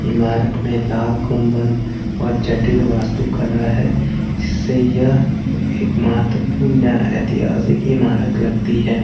इमारत में लाल गुंबद और जटिल वास्तु कला है जिससे यह एक महत्वपूर्ण ऐतिहासिक इमारत लगती है।